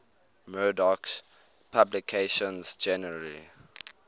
murdoch's publications generally